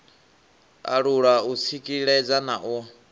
alula u tsikeledza na u